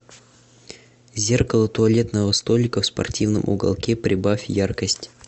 зеркало туалетного столика в спортивном уголке прибавь яркость